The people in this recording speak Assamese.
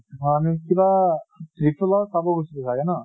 আমি কিবা tripple r চাব গৈছিলো চাগে ন?